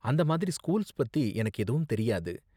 அந்த மாதிரி ஸ்கூல்ஸ் பத்தி எனக்கு எதுவும் தெரியாது.